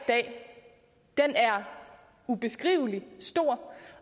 dag er ubeskrivelig stor